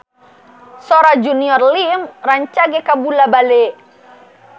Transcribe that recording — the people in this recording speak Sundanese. Sora Junior Liem rancage kabula-bale